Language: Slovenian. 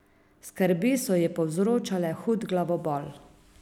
Skrbi so ji povzročale hud glavobol.